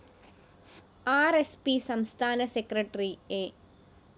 R S P സംസ്ഥാന secretary A